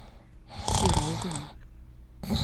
серовым